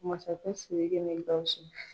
Masakɛ Siriki ni Gawusu.